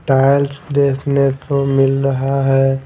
Tiles देखने को मिल रहा है।